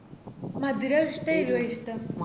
മധുര ഇഷ്ട്ടം എരുവോ ഇഷ്ട്ടം